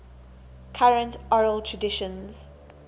current oral traditions